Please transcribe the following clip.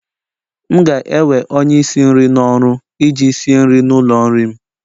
M ga-ewe onye isi nri n'ọrụ iji sie nri n'ụlọ nri m